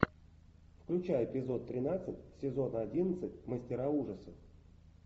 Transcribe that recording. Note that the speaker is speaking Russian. включай эпизод тринадцать сезона одиннадцать мастера ужасов